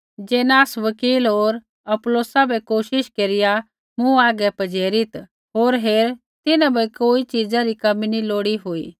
जेनास वकील होर अपुल्लोसा बै कोशिश केरिया आगै पजेरित् होर हेर तिन्हां बै कोई च़ीज़ा री कमी नैंई हुई लोड़ी